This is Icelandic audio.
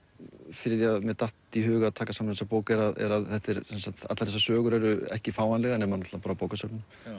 fyrir því að mér datt í hug að taka saman þessa bók er að er að þessar sögur eru ekki fáanlegar nema á bókasöfnum